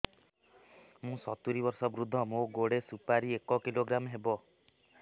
ମୁଁ ସତୂରୀ ବର୍ଷ ବୃଦ୍ଧ ମୋ ଗୋଟେ ସୁପାରି ଏକ କିଲୋଗ୍ରାମ ହେବ